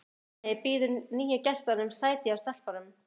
Hemmi býður nýju gestunum sæti hjá stelpunum.